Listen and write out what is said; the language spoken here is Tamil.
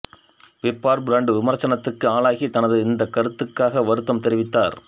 பிற்பாடு பிராண்ட் விமர்சனத்துக்கு ஆளாகி தனது இந்தக் கருத்துக்காக வருத்தம் தெரிவித்தார்